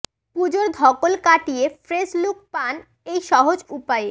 পুজোর ধকল কাটিয়ে ফ্রেশ লুক পান এই সহজ উপায়ে